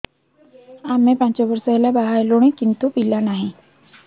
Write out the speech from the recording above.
ଆମେ ପାଞ୍ଚ ବର୍ଷ ହେଲା ବାହା ହେଲୁଣି କିନ୍ତୁ ପିଲା ନାହିଁ